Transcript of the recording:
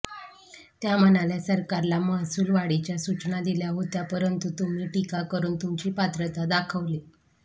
त्या म्हणाल्या सरकारला महासूल वाढीच्या सूचना दिल्या होत्या परंतु तुम्ही टीका करून तुमची पात्रता दाखवली